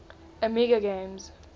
amiga games